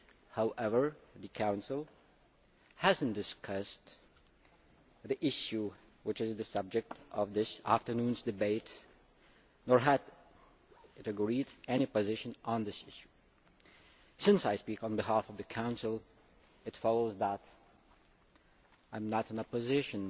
However, the Council has not discussed the issue which is the subject of this afternoon's debate nor has it agreed any position on it. Since I speak on behalf of the Council, it follows that I am not in a position